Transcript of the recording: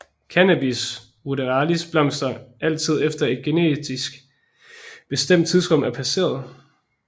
Cannabis ruderalis blomstrer altid efter at et genetisk bestemt tidsrum er passeret